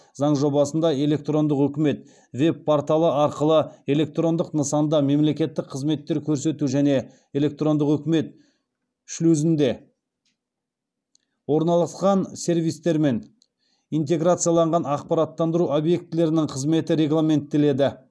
заң жобасында электрондық үкімет веб порталы арқылы электрондық нысанда мемлекеттік қызметтер көрсету және электрондық үкімет шлюзінде орналасқан сервистермен интеграцияланған ақпараттандыру объектілерінің қызметі регламенттеледі